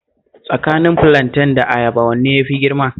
Tsakanin filanten da ayaba wanne ne ya fi girma?